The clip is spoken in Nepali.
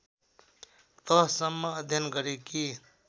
तहसम्म अध्ययन गरेकी